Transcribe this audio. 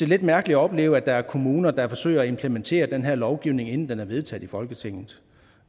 lidt mærkeligt at opleve at der er kommuner der forsøger at implementere den her lovgivning inden den er vedtaget i folketinget